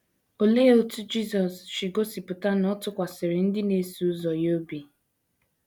Olee otú Jisọs si gosipụta na ọ tụkwasịrị ndị na - eso ụzọ ya obi?